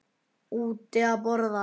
Úti að borða.